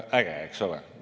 Äge, eks ole.